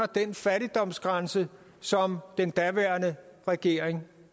den fattigdomsgrænse som den daværende regering